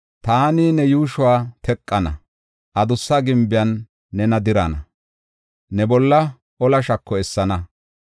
Taani ne yuushuwa teqana; adussa gimbiyan nena dirana; ne bolla ola shako essana.